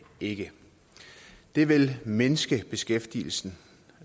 ikke det vil mindske beskæftigelsen